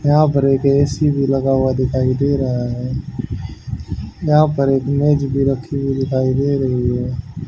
यहां पर एक ए_सी भी लगा हुआ दिखाई दे रहा है यहां पर एक मेज भी रखी हुई दिखाई दे रही है।